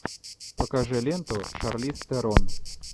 покажи ленту шарлиз терон